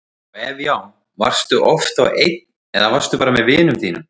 og ef já, varstu oft þá einn eða varstu bara með vinum þínum?